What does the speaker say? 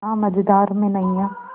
ना मझधार में नैय्या